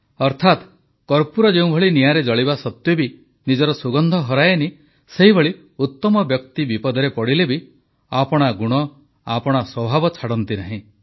ଅର୍ଥାତ୍ କର୍ପୂର ଯେଭଳି ନିଅଁରେ ଜଳିବା ସତ୍ୱେ ବି ନିଜର ସୁଗନ୍ଧ ହରାଏନି ସେହିଭଳି ଉତ୍ତମ ବ୍ୟକ୍ତି ବିପଦରେ ପଡ଼ିଲେ ବି ଆପଣା ଗୁଣ ଆପଣା ସ୍ୱଭାବ ଛାଡ଼ନ୍ତି ନାହିଁ